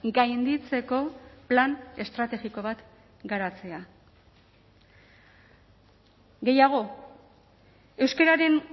gainditzeko plan estrategiko bat garatzea gehiago euskararen